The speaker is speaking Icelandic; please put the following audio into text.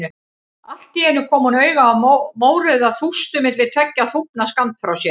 Allt í einu kom hún auga á mórauða þústu milli tveggja þúfna skammt frá sér.